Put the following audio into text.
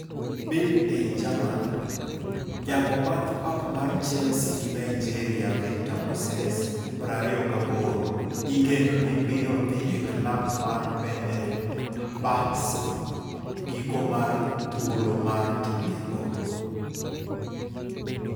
(Bild - ei German) Jago bath pap mar Chelsea gi Nigeria Victor Moses, 28, igeno ni biro dhi e klab mar Fenerbahce giko mar thuolo mar tuke go .